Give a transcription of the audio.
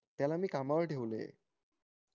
त्याला मी कामाला ठेवलंय